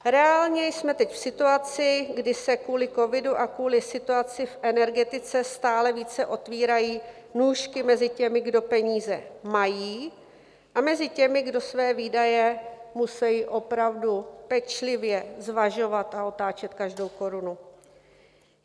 Reálně jsme teď v situaci, kdy se kvůli covidu a kvůli situaci v energetice stále více otevírají nůžky mezi těmi, kdo peníze mají, a mezi těmi, kdo své výdaje musejí opravdu pečlivě zvažovat a otáčet každou korunu.